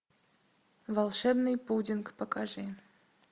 волшебный пудинг покажи